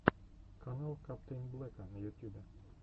канал каптэйнблека на ютюбе